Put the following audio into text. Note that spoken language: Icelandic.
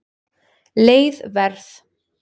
Leið Verð